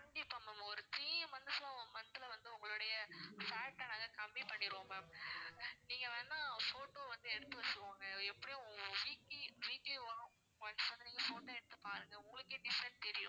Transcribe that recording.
கண்டிப்பா ma'am ஒரு three months ல month ல வந்து உங்களுடைய fat ட நாங்க கம்மி பண்ணிருவோம் ma'am நீங்க வேணா photo வந்து எடுத்து வச்சிக்கோங்க எப்படியும் weekly weekly once வந்து நீங்க photo எடுத்து பாருங்க உங்களுக்கே difference தெரியும்